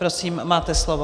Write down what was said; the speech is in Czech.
Prosím, máte slovo.